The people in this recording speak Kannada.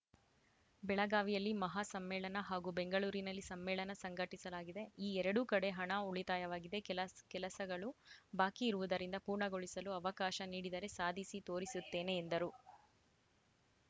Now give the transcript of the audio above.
ಬೆಳಗಾವಿಯಲ್ಲಿ ಮಹಾ ಸಮ್ಮೇಳನ ಹಾಗೂ ಬೆಂಗಳೂರಿನಲ್ಲಿ ಸಮ್ಮೇಳನ ಸಂಘಟಿಸಲಾಗಿದೆ ಈ ಎರಡೂ ಕಡೆ ಹಣ ಉಳಿತಾಯವಾಗಿದೆ ಕೆಲ ಕೆಲಸಗಳು ಬಾಕಿ ಇರುವುದರಿಂದ ಪೂರ್ಣಗೊಳಿಸಲು ಅವಕಾಶ ನೀಡಿದರೆ ಸಾಧಿಸಿ ತೋರಿಸುತ್ತೇನೆ ಎಂದರು